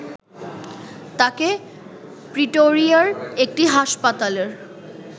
তাঁকে প্রিটোরিয়ার একটি হাসপাতালে